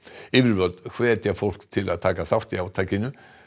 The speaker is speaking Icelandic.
yfirvöld hvetja fólk til að taka þátt í átakinu